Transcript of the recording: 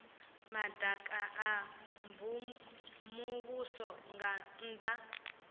madaka a muvhuso nga nnda